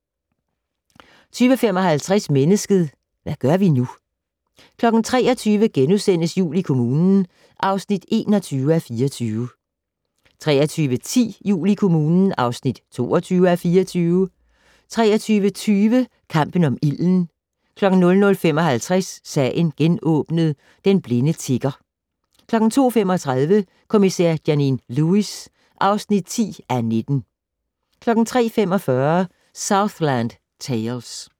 20:55: Mennesket - hvad gør vi nu? 23:00: Jul i kommunen (21:24)* 23:10: Jul i kommunen (22:24) 23:20: Kampen om ilden 00:55: Sagen genåbnet: Den blinde tigger 02:35: Kommissær Janine Lewis (10:19) 03:45: Southland Tales